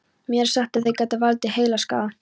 Mér er sagt að þeir geti valdið heilaskaða.